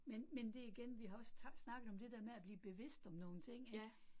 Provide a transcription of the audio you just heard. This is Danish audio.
Men men det igen, vi har også snakket om det der med at blive bevidst om nogle ting ik